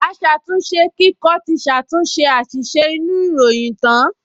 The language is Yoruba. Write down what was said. Aṣàtúnṣekíkọ ti ṣàtúnṣe àṣìṣe inú ìròyìn tán